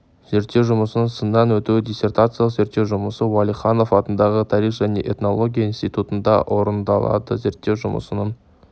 зерттеу жұмысының сыннан өтуі диссертациялық зерттеу жұмысы уәлиханов атындағы тарих және этнология институтында орындалды зерттеу жұмысының